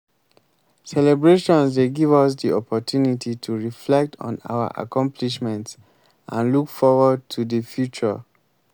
celebrations dey give us di opportunity to reflect on our accomplishments and look forward to di future.